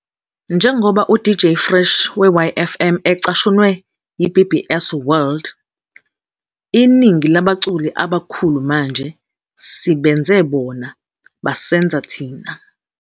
Njengoba uDJ Fresh we-YFM ecashunwe yi-BBC World, "Iningi labaculi abakhulu manje - sibenze bona basenza thina."